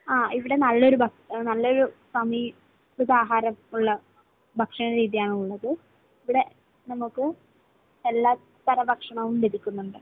ആ ഇവിടെ നല്ലൊരു, ഭ, നല്ലൊരു സമീകൃതാഹാരം ഉള്ള ഭക്ഷണരീതിയാണുള്ളത്. ഇവിടെ നമുക്ക് എല്ലാത്തരം ഭക്ഷണവും ലഭിക്കുന്നുണ്ട്.